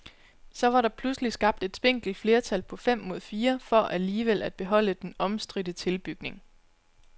Så var der pludselig skabt et spinkelt flertal på fem mod fire for alligevel at beholde den omstridte tilbygning.